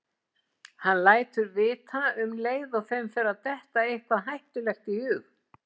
Hann lætur vita um leið og þeim fer að detta eitthvað hættulegt í hug.